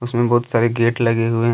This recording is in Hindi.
इसमे बहोत सारे गेट लगे हुए है।